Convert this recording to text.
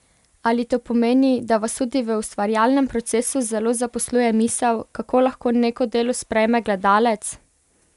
Ali to pomeni, da vas tudi v ustvarjalnem procesu zelo zaposluje misel, kako lahko neko delo sprejme gledalec?